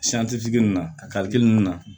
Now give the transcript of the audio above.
ninnu na karili nunnu na